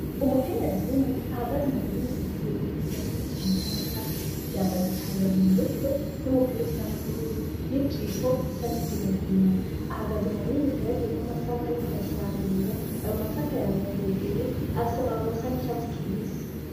Umukenyezi umwe ahagaze mu murima uteragiyemwo igiterwa ciza cane c'amasaka, yambaye igitambara mu mutwe, n'umupira usa n'ubururu, ahagaze mu murima uteragiyemw'amasaka ariko arasarura, ayo masaka yamira hejuru afis'amababi asa n'icatsi kibisi.